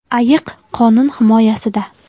Ayiq qonun himoyasida.